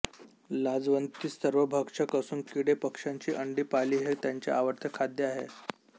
लाजवंती सर्वभक्षक असून किडे पक्ष्यांची अंडी पाली हे त्यांचे आवडते खाद्य आहे